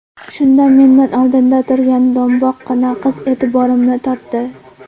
Shunda mendan oldinda turga do‘mboqqina qiz e’tiborimni tortdi.